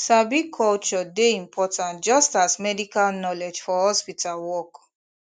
sabi culture dey important just as medical knowledge for hospital work